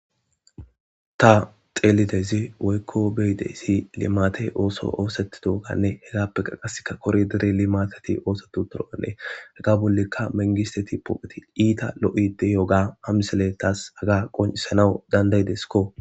ta xeelidaysi woykko beyidesi limatey ooso oosetidoganne hetappe qaqaseka kori dere limatati oosetu toro7ane haga bollikka mengisteti poopheti iita lo7ide yooga hamsele taas aga qoncisanawu dandayideskko